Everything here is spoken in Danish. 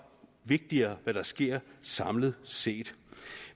vigtigere hvad der sker samlet set